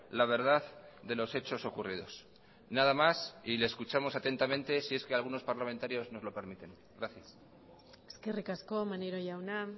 la verdad de los hechos ocurridos nada más y le escuchamos atentamente si es que algunos parlamentarios nos lo permiten gracias eskerrik asko maneiro jauna